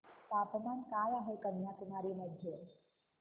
तापमान काय आहे कन्याकुमारी मध्ये